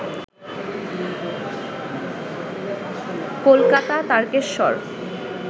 Kolkata, Tarakeswar